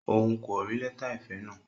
Òun kò rí lẹta ìfẹ náà?